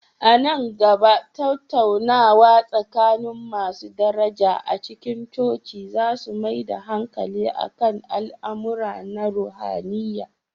A nan gaba, tattaunawa tsakanin masu daraja a cikin coci za su mai da hankali kan al'amura na ruhaniya.